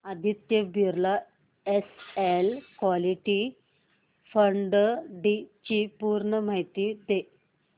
Aditya Birla SL equity fund डी ची पूर्ण माहिती दे